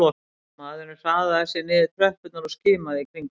Maðurinn hraðaði sér niður tröppurnar og skimaði í kringum sig